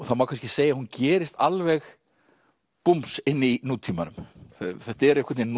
það má kannski segja að hún gerist alveg búms inn í nútímanum þetta er einhvern veginn